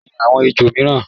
Olóró ni àwọn ejò mìíràn.